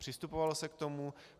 Přistupovalo se k tomu.